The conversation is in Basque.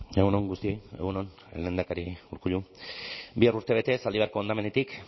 egun on guztioi egun on lehendakari urkullu bihar urtebete zaldibarko hondamenetik